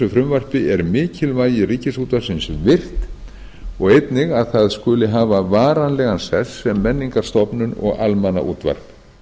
frumvarpi er mikilvægi ríkisútvarpsins virt og einnig að það skuli hafa varanlegan sess sem menningarstofnun og almannaútvarp